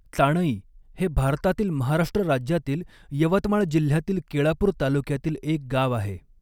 चाणई हे भारतातील महाराष्ट्र राज्यातील यवतमाळ जिल्ह्यातील केळापूर तालुक्यातील एक गाव आहे.